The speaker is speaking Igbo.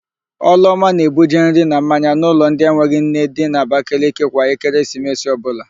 Ọlụọma na-ebuje nri na mmanya n'ụlọ ndị enweghị nne dị n'Abakaliki kwa Ekeresimesi ọbụla.